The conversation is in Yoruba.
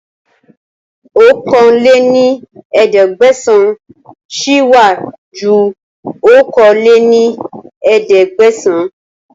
ọ̀kan lé ní ẹ̀ẹ́dẹ́gbẹ́sán sì wá ju okòó lé ní ẹ̀ẹ́dẹ́gbẹ́sán